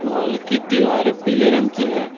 हाल की दीवारें पीले रंग की है।